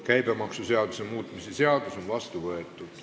Käibemaksuseaduse muutmise seadus on vastu võetud.